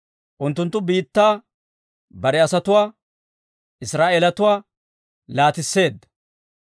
Unttunttu biittaa bare asatuwaa, Israa'eelatuwaa laatisseedda.